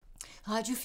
Radio 4